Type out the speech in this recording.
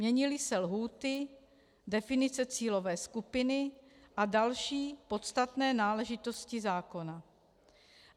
Měnily se lhůty, definice cílové skupiny a další podstatné náležitosti zákona.